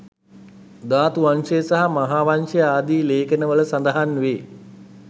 ධාතුවංශය සහ මහාවංශය ආදී ලේඛන වල සඳහන් වේ.